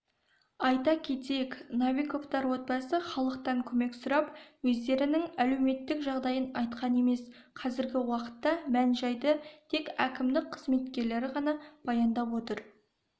айта кетейік новиковтар отбасы халықтан көмек сұрап өздерінің әлеуметтік жағдайын айтқан емес қазіргі уақытта мән-жайды тек әкімдік қызметкерлері ғана баяндап отыр